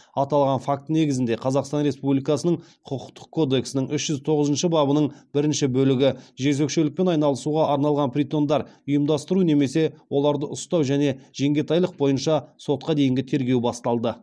аталған факт негізінде қазақстан республикасының құқықтық кодексінің үш жүз тоғызыншы бабының бірінші бөлігі бойынша сотқа дейінгі тергеу басталды